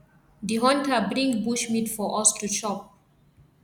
di hunter bring bushmeat for us to chop